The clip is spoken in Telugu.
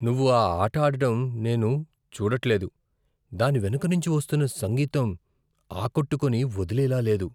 నువ్వు ఈ ఆట ఆడటం నేను చూడట్లేదు. దాని వెనుక నుంచి వస్తున్న సంగీతం ఆకట్టుకొని వదిలేలా లేదు!